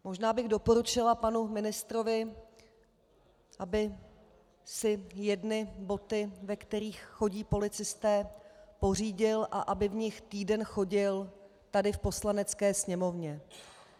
Možná bych doporučila panu ministrovi, aby si jedny boty, ve kterých chodí policisté, pořídil a aby v nich týden chodil tady v Poslanecké sněmovně.